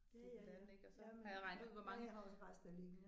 Ditten datten ikke og så har jeg regnet ud hvor mange